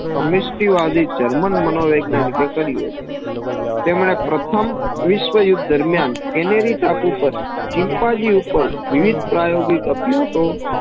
વાદી German માનો વૈજ્ઞાનિક કે કર્યું હતું તેનના પ્રથમ વિસ્વયુદ્ધ દરમ્યાન કેનેરી ટાપુપર ચિમ્પાઝી ઉપર વિવિધ પ્રયોજી અભ્યાસો